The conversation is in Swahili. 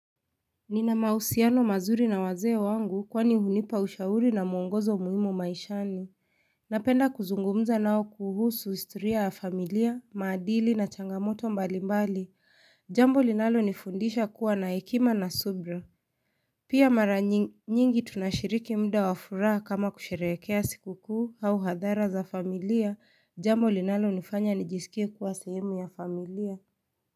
Nina mahusiano mazuri na wazee wangu kwani hunipa ushauri na mwongozo muhimu maishani. Napenda kuzungumza nao kuhusu historia ya familia, maadili na changamoto mbali mbali. Jambo linalonifundisha kuwa na hekima na subira. Pia mara nyingi tunashiriki muda wa furaha kama kusherehekea sikukuu au hadhara za familia jambo linalonifanya nijisikie kuwa sehemu ya familia.